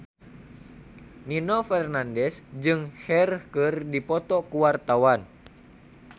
Nino Fernandez jeung Cher keur dipoto ku wartawan